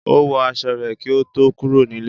Ó wọ aṣọ rẹ̀ kí ó tó kúrò nílé.